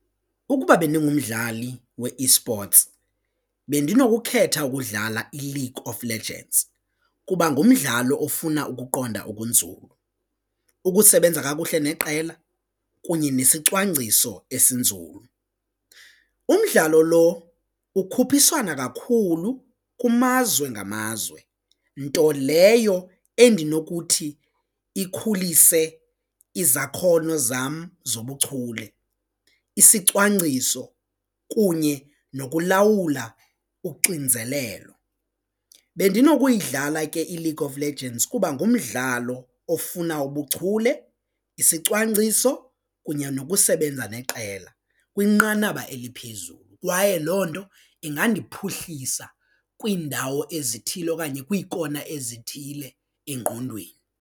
Ukuba bendingumdlali we-esports bendinokukhetha ukudlala iLeague of Legends kuba ngumdlalo ofuna ukuqonda okunzulu, ukusebenza kakuhle neqela kunye nesicwangciso esinzulu umdlalo lo ukhuphiswana kakhulu kumazwe ngamazwe nto leyo endinokuthi ikhulise izakhono zam zobuchule isicwangciso kunye nokulawula uxinzelelo. Bendinokuyidlala ke iLeague of Legends kuba ngumdlalo ofuna ubuchule, isicwangciso kunye nokusebenza neqela kwinqanaba eliphezulu kwaye loo nto ingandiphuhlisa kwiindawo ezithile okanye kwiikona ezithile engqondweni.